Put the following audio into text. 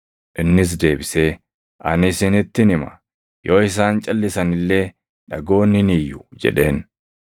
Innis deebisee, “Ani isinittin hima; yoo isaan calʼisan illee dhagoonni ni iyyu” jedheen.